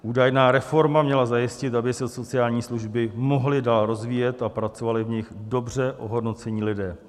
Údajná reforma měla zajistit, aby se sociální služby mohly dál rozvíjet a pracovali v nich dobře ohodnocení lidé.